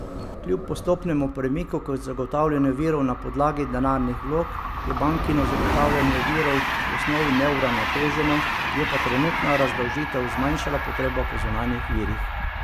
Kljub postopnemu premiku k zagotavljanju virov na podlagi denarnih vlog je bankino zagotavljanje virov v osnovi neuravnoteženo, je pa trenutna razdolžitev zmanjšala potrebo po zunanjih virih.